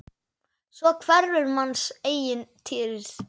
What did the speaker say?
Svo hverfur manns eigin dýrð.